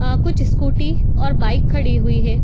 अ कुछ स्कूटी और बाइक खड़ी हुई हैं।